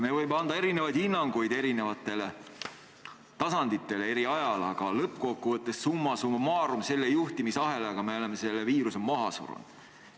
Me võime anda erinevaid hinnanguid eri tasanditele eri ajal, aga summa summarum selle juhtimisahelaga me oleme selle viiruse maha surunud.